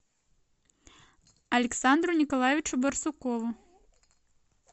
александру николаевичу барсукову